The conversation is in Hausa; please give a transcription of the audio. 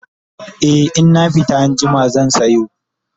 e in na fita anjima zan sayo